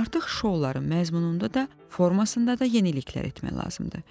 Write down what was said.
artıq şouların məzmununda da, formasında da yeniliklər etmək lazımdır.